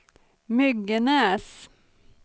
Myggenäs